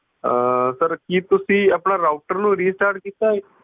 ਆਹ sir ਕੀ ਤੁਸੀਂ ਆਪਣਾ router ਨੂੰ restart ਕੀਤਾ ਐ